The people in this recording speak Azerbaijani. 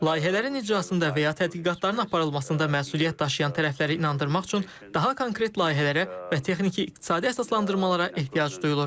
Layihələrin icrasında və ya tədqiqatların aparılmasında məsuliyyət daşıyan tərəfləri inandırmaq üçün daha konkret layihələrə və texniki-iqtisadi əsaslandırmalara ehtiyac duyulur.